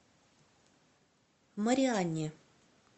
марианне